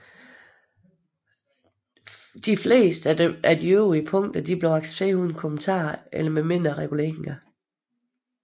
De fleste af de øvrige punkter blev accepteret uden kommentarer eller med mindre reguleringer